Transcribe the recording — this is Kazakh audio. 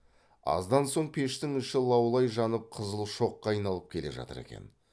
аздан соң пештің іші лаулай жанып қызыл шоққа айналып келе жатыр екен